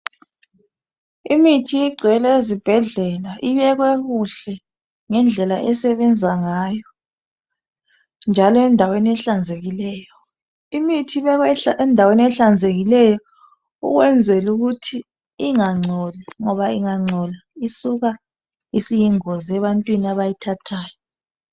Imithi igcwele ezibhedlela ibekwe kuhle ngendlela esebenza ngayo njalo endaweni ehlanzekileyo. Imithi kumele ibekwe endaweni ehlanzekileyo ukwenzela ukuthi ingangcoli ngoba ingangcola isuka isiyingozi ebantwini abayithathayo.